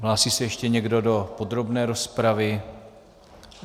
Hlásí se ještě někdo do podrobné rozpravy?